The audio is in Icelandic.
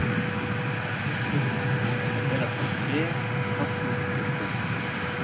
Ragnhildur, og bera fram te, kaffi og kökur.